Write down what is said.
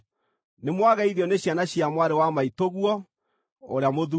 Nĩmwageithio nĩ ciana cia mwarĩ wa maitũguo ũrĩa mũthuure.